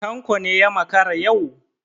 Tanko ne ya makara yau?